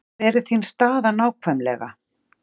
Hver er þín staða nákvæmlega?